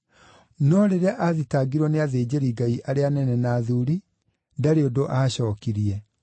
No rĩrĩa aathitangirwo nĩ athĩnjĩri-Ngai arĩa anene na athuuri, ndarĩ ũndũ aacookirie.